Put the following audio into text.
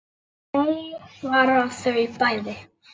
Nei svara þau bæði.